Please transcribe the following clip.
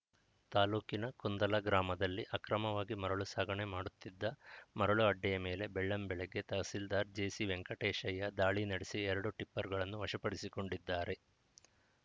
ತಾಲೂಕಿನ ಕುಂದಲ ಗ್ರಾಮದಲ್ಲಿ ಅಕ್ರಮವಾಗಿ ಮರಳು ಸಾಗಣೆ ಮಾಡುತ್ತಿದ್ದ ಮರಳು ಅಡ್ಡೆಯ ಮೇಲೆ ಬೆಳ್ಳಂ ಬೆಳಗ್ಗೆ ತಹಸೀಲ್ದಾರ್‌ ಜೆಸಿ ವೆಂಕಟೇಶಯ್ಯ ದಾಳಿ ನಡೆಸಿ ಎರಡು ಟಿಪ್ಪರ್‌ಗಳನ್ನು ವಶಪಡಿಸಿಕೊಂಡಿದ್ದಾರೆ